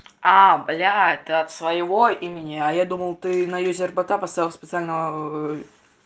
а бля ты от своего имени а я думал ты на юзе рбк поставил специально